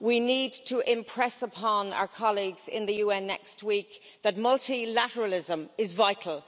We need to impress upon our colleagues in the UN next week that multilateralism is vital.